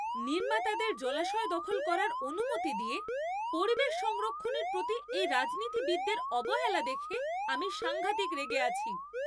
নির্মাতাদের জলাশয় দখল করার অনুমতি দিয়ে পরিবেশ সংরক্ষণের প্রতি এই রাজনীতিবিদের অবহেলা দেখে আমি সাঙ্ঘাতিক রেগে আছি।